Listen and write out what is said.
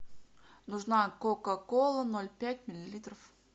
нужна кока кола ноль пять миллилитров